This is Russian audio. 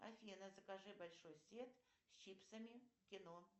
афина закажи большой сет с чипсами кино